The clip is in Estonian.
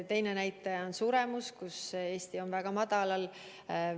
Üks näitaja on suremus, mis Eestis on väga väike.